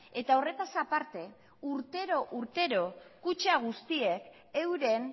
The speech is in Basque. eta horretaz aparte urtero urtero kutxa guztiek euren